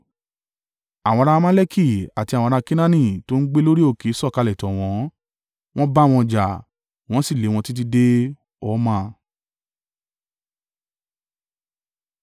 Àwọn ará Amaleki àti àwọn ará Kenaani tó ń gbé lórí òkè sọ̀kalẹ̀ tọ̀ wọ́n, wọ́n bá wọn jà, wọ́n sì lé wọn títí dé Horma.